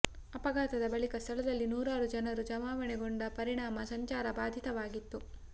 ಅಪಘಾತದ ಬಳಿಕ ಸ್ಥಳದಲ್ಲಿ ನೂರಾರು ಜನರು ಜಮಾವಣೆಗೊಂಡ ಪರಿಣಾಮ ಸಂಚಾರ ಬಾಧಿತವಾಗಿತ್ತು